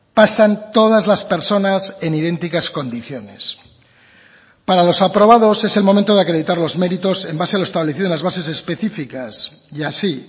pasan todas las personas en idénticas condiciones para los aprobados es el momento de acreditar los méritos en base a lo establecido en las bases específicas y así